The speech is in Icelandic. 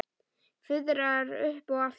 Fuðrar upp aftur.